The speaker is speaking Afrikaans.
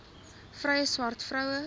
vrye swart vroue